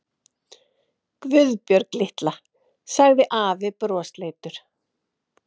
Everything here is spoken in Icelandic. Guðbjörg litla, sagði afi brosleitur.